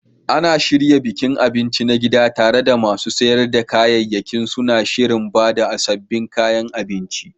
Ana shirya bikin abinci na gida, tare da masu sayar da kayayyaki suna shirin ba da sabbin kayan abinci.